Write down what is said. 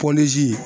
Pɔlizi